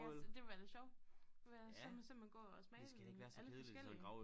Ja så det ville være lidt sjov være så man så man gå og smage alle forskellige